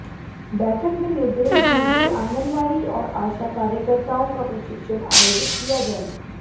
बैठक में निर्देश दिए कि आंगनवाडी और आशा कार्यकर्ताओं का प्रशिक्षण आयोजित किया जाए